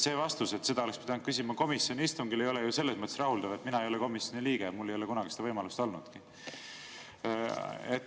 See vastus, et seda oleks pidanud küsima komisjoni istungil, ei ole ju selles mõttes rahuldav, et mina ei ole komisjoni liige, mul ei ole kunagi seda võimalust olnudki.